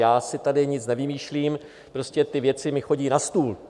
Já si tady nic nevymýšlím, prostě ty věci mi chodí na stůl.